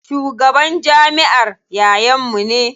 Shugaban jamiʼar yayan mu ne.